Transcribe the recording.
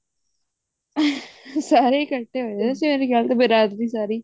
ਸਾਰੇ ਕੱਠੇ ਹੋਏ ਹੋਏ ਸੀ ਰਾਤ ਵੀ ਸਾਰੀ